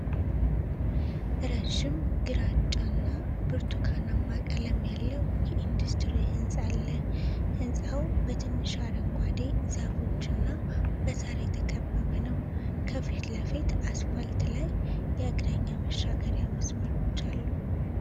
ረዥም ግራጫ እና ብርቱካናማ ቀለም ያለው የኢንዱስትሪ ሕንፃ አለ። ሕንፃው በትንሽ አረንጓዴ ዛፎችና በሣር የተከበበ ነው። ከፊት ለፊት አስፋልት ላይ የእግረኛ መሻገሪያ መስመሮች አሉ።